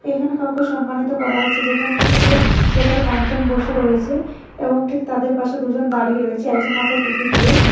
এখানে কাউকে সম্মানিত করা হচ্ছে যেখানে হচ্ছে যে টোটাল পাঁচজন বসে রয়েছে এবং ঠিক তাদের পাশে দুজন দাঁড়িয়ে রয়েছে একজন মাথায় টুপি দিয়ে।